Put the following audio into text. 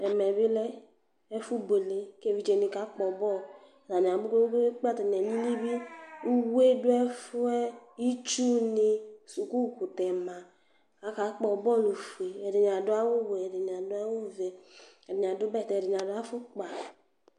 Ɛmɛ bi lɛ ɛfʊbʊele kevɩdze wani kakpɔ bɔlʊ Atanɩ abu gbegbeegbe katanɩ alɩlɩbɩ Ʊwue du efuɛ Ɩtsʊni sukukʊtɛ ma, aka kpɔ bɔlʊ ofue Ɛdɩnɩ adʊ awʊ wɛ, edɩnɩ adʊ awʊ fue, ɛdinɩ adʊ bɛtɛ, ɛdini adu afukpa